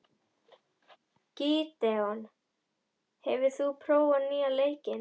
Gídeon, hefur þú prófað nýja leikinn?